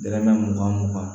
Dɛrɛmɛ mugan mugan